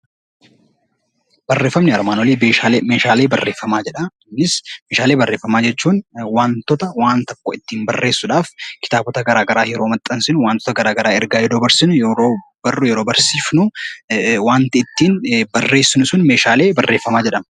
Meeshaalee barreeffamaa jechuun wantoota waan tokko ittiin barreessuudhaaf kitaabota garaagaraa yeroo maxxansinu wantoota garaagaraa ergaa yoo dabarsinu yeroo barru, yeroo barsiifnu, wanti ittiin barreessinu sun meeshaalee barreeffamaa jedhama.